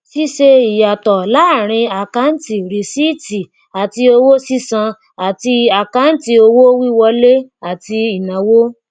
ṣíṣe ìyàtọ láàárín àkáǹtì rìsíìtì àti owó sísan àti àkáǹtì owó wiwọlé àti ìnáwó